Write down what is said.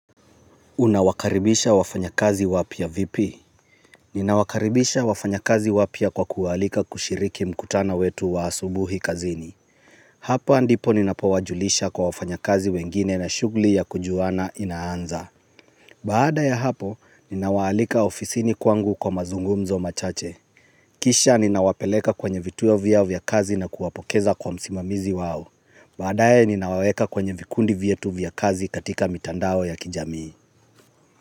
Unawakaribisha wafanyakazi wapya vipi? Ninawakaribisha wafanya kazi wapya kwa kuwa alika kushiriki mkutano wetu wa asubuhi kazini. Hapa ndipo ninapowajulisha kwa wafanyakazi wengine na shugli ya kujuana inaanza. Baada ya hapo, ninawaalika ofisini kwangu kwa mazungumzo machache. Kisha ninawapeleka kwenye vituo vyao vya kazi na kuwapokeza kwa msimamizi wao. Baadae ninawaeka kwenye vikundi vyetu vya kazi katika mitandao ya kijamii.